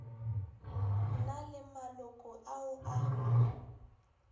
na le maloko ao a